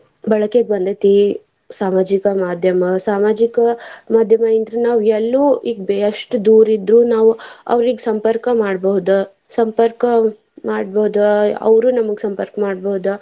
ಬಳಕೆಗೆ ಬಂದೇತಿ ಸಾಮಾಜಿಕ ಮಾದ್ಯಮ ಸಾಮಾಜಿಕ ಮಾದ್ಯಮ ಅಂದ್ರ ನಾವ್ ಎಲ್ಲೂ ಈಗ್ ಎಷ್ಟ್ ದೂರ್ ಇದ್ರು ನಾವ್ ಅವ್ರಿಗ್. ಸಂಪರ್ಕ ಮಾಡ್ಬಹುದ ಸಂಪರ್ಕ ಮಾಡ್ಬಹುದ ಅವ್ರು ನಮ್ಗ್ ಸಂಪರ್ಕ ಮಾಡ್ಬಹುದ.